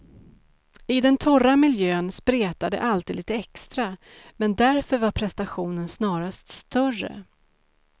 I den torra miljön spretar det alltid lite extra, men därför var prestationen snarast större.